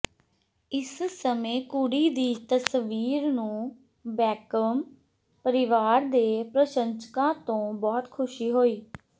ਇਸ ਸਮੇਂ ਕੁੜੀ ਦੀ ਤਸਵੀਰ ਨੂੰ ਬੈਕਹਮ ਪਰਿਵਾਰ ਦੇ ਪ੍ਰਸ਼ੰਸਕਾਂ ਤੋਂ ਬਹੁਤ ਖੁਸ਼ੀ ਹੋਈ